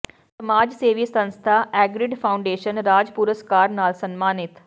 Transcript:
ਸਮਾਜ ਸੇਵੀ ਸੰਸਥਾ ਐਗਰੀਡ ਫਾਊਾਡੇਸ਼ਨ ਰਾਜ ਪੁਰਸਕਾਰ ਨਾਲ ਸਨਮਾਨਿਤ